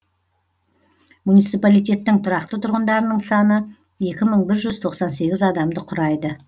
муниципалитеттің тұрақты тұрғындарының саны екі мың бір жүз тоқсан сегіз адамды құрайды